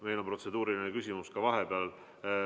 Meil on protseduuriline küsimus ka vahepeal.